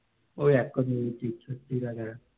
ঐ এক কাপড়ে তীর্থাতিরা তারা